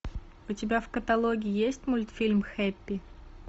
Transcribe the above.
у тебя в каталоге есть мультфильм хеппи